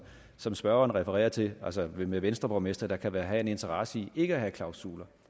som spørgeren refererer til altså med venstreborgmestre der kan have en interesse i ikke at have klausuler